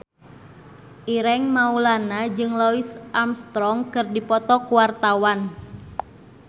Ireng Maulana jeung Louis Armstrong keur dipoto ku wartawan